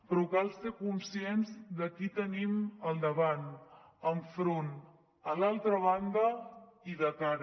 però cal ser conscients de qui tenim al davant enfront a l’altra banda i de cara